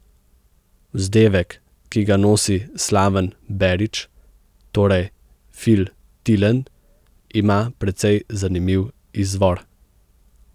Vzdevek, ki ga nosi Slaven Berič, torej Fil Tilen, ima precej zanimiv izvor.